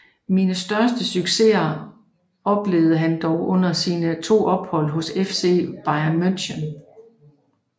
Sine største succeser oplevede han dog under sine to ophold hos FC Bayern München